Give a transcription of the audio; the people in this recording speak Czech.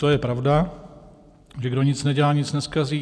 To je pravda, že kdo nic nedělá, nic nezkazí.